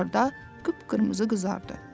Axırda qıpqırmızı qızardı.